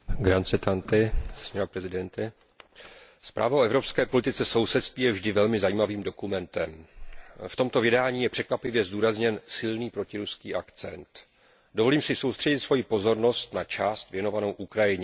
Paní předsedající, zpráva o evropské politice sousedství je vždy velmi zajímavým dokumentem. V tomto vydání je překvapivě zdůrazněn silný protiruský akcent. Dovolím si soustředit svoji pozornost na část věnovanou Ukrajině.